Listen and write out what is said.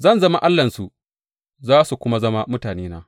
Zan zama Allahnsu, za su kuma zama mutanena.